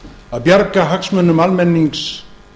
að bjarga hagsmunum almennings